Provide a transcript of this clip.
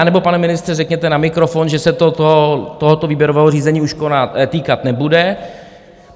Anebo, pane ministře, řekněte na mikrofon, že se to tohoto výběrového řízení už týkat nebude.